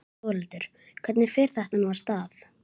Þórhildur, hvernig fer þetta nú af stað?